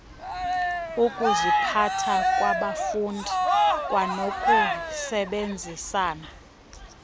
ukuziphatha kwabafundi kwanokusebenzisana